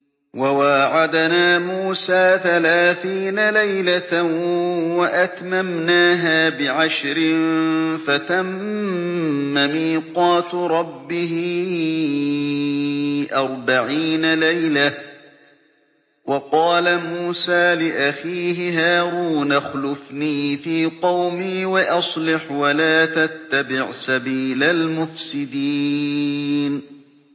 ۞ وَوَاعَدْنَا مُوسَىٰ ثَلَاثِينَ لَيْلَةً وَأَتْمَمْنَاهَا بِعَشْرٍ فَتَمَّ مِيقَاتُ رَبِّهِ أَرْبَعِينَ لَيْلَةً ۚ وَقَالَ مُوسَىٰ لِأَخِيهِ هَارُونَ اخْلُفْنِي فِي قَوْمِي وَأَصْلِحْ وَلَا تَتَّبِعْ سَبِيلَ الْمُفْسِدِينَ